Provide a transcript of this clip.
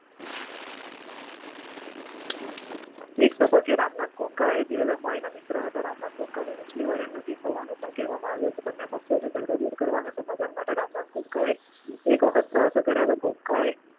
એક તબક્કે રામનાથ ગોએન્કા ધીરુભાઈ અંબાણીના મિત્ર હતા. રામનાથ ગોએન્કા નુસ્લી વાડિયાની નજીક હોવાનું પણ કહેવાતુ હતું. બંને પક્ષોનો ઝઘડો દૂર કરવા અને સમાધાન માટે રામનાથ ગોએન્કાએ અનેક વખત પ્રયાસો કર્યા હતા. ગોએન્કા